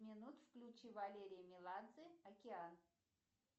включи валерий меладзе океан